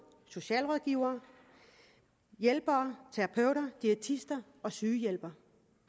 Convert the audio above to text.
socialrådgivere hjælpere terapeuter diætister og sygehjælpere